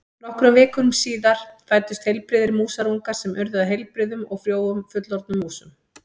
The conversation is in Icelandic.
Nokkrum vikum síðar fæddust heilbrigðir músarungar sem urðu að heilbrigðum og frjóum fullorðnum músum.